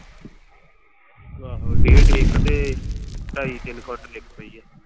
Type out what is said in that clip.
ਆਹੋ ਡੇਢ ਇੱਕ ਤੇ ਢਾਈ ਤਿੰਨ ਕਵਿੰਟਲ ਇੱਕ ਪਈ ਆ।